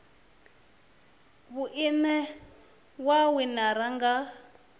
vhui ine ya winiwa nga